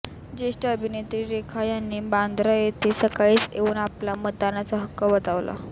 ज्येष्ठ अभिनेत्री रेखा यांनी बांद्रा येथे सकाळीच येऊन आपला मतदानाचा हक्क बजावला